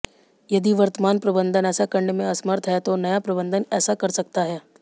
यदि वर्तमान प्रबंधन ऐसा करने में असमर्थ है तो नया प्रबंधन ऐसा कर सकता है